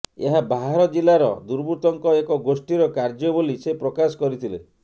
ଏହା ବାହାର ଜିଲ୍ଲାର ଦୁର୍ବୃତ୍ତଙ୍କ ଏକ ଗୋଷ୍ଠୀର କାର୍ଯ୍ୟବୋଲି ସେ ପ୍ରକାଶ କରିଥିଲେ